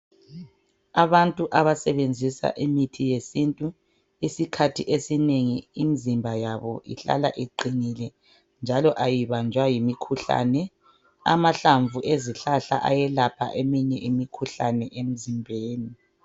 Abantu abasebenzisa imithi yesintu isikhathi esinengi imizimba yabo ihlala iqinile njalo ayibanjwa yimikhuhlane. Amahlamvu ezihlahla ayelapha eminye imikhuhlane emizimbeni.